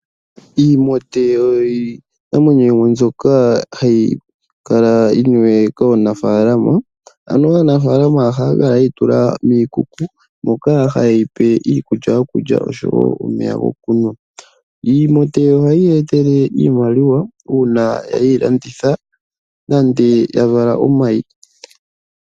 Iimote oyo iinamwenyo yimwe mbyoka hayi kala yiniwe kaanafalama, aannafalama ohaya kala yeyi tula miikuku moka haye yi pe iikulya yokulya nomeya gokunwa. Iimote ohaye ya etele iimaliwa uuna ye yi landitha nenge ya vala omayi.